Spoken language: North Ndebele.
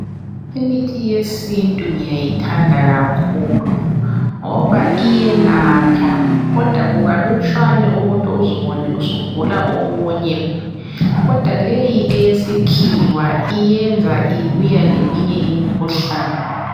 Imithi yesintu ngiyayithanda kakhulu ngoba iyelapha kodwa kukalutshwane ukuthi uzubone usugula okunye kodwa leyi eyesikhiwa iyenza ibuya leminye imikhuhlane.